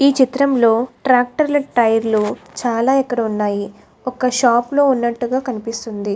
ఎ చిత్రం లో తక్టర్ టై లాగా ఉనది. ఇక్కడ చాల ఉనది ఏది వక షాప్ లాగా కనిపెస్తునది.